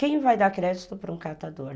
Quem vai dar crédito para um catador?